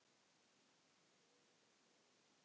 segir hún og bros